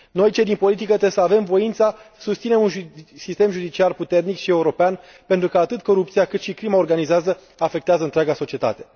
Noi, cei din politică, trebuie să avem voința să susținem un sistem judiciar puternic și european pentru că atât corupția, cât și crima organizată afectează întreaga societate.